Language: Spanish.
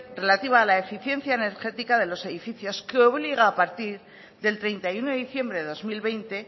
relativa a la eficiencia energética de los edificios que obliga a partir del treinta y uno de diciembre de dos mil veinte